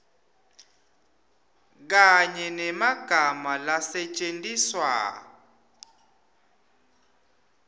kanye nemagama lasetjentiswa